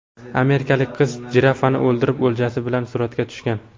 Amerikalik qiz jirafani o‘ldirib, o‘ljasi bilan suratga tushgan.